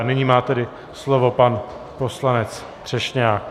A nyní má tedy slovo pan poslanec Třešňák.